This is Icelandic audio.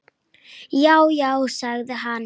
Já, já sagði hann.